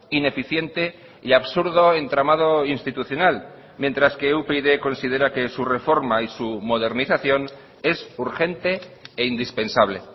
ineficiente y absurdo entramado institucional mientras que upyd considera que su reforma y su modernización es urgente e indispensable